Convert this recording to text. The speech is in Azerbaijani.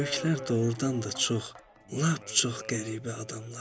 Böyüklər doğurdan da çox, lap çox qəribə adamlardır.